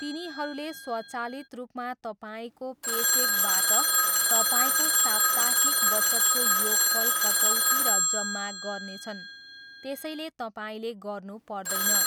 तिनीहरूले स्वचालित रूपमा तपाईँको पेचेकबाट तपाईँको साप्ताहिक बचतको योगफल कटौती र जम्मा गर्नेछन्, त्यसैले तपाईँले गर्नुपर्दैन।